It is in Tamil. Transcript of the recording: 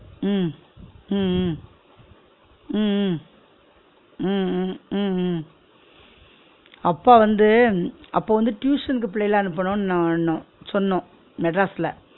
உம் உம் உம் உம் உம் உம் உம் உம் உம் அப்பா வந்து அப்போ வந்து tuition க்கு பிள்ளைல அனுப்பனு உ னோ னோனு சொன்னோம் மெட்ராஸ்ல